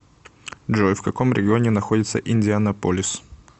джой в каком регионе находится индианаполис